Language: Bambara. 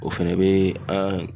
O fɛnɛ be an